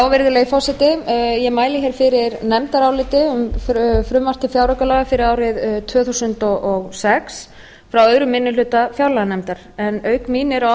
virðulegi forseti ég mæli hér fyrir nefndaráliti um frumvarp til fjáraukalaga fyrir árið tvö þúsund og sex frá öðrum minni hluta fjárlaganefndar en auk mín eru á